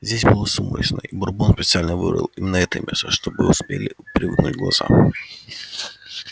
здесь было сумрачно и бурбон специально выбрал именно это место чтобы успели привыкнуть глаза